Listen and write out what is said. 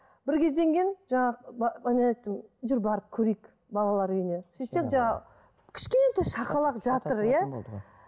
бір кезден кейін жаңағы жүр барып көрейік балалар үйіне сөйтсем жаңағы кішкентай шақалақ жатыр иә